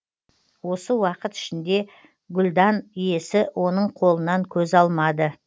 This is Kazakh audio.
осы уақыт ішінде гүлдан иесі оның қолынан көз алмады